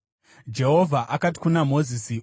Jehovha akati kuna Mozisi,